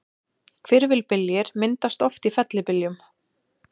Hvirfilbyljir myndast oft í fellibyljum.